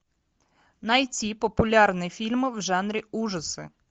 найти популярные фильмы в жанре ужасы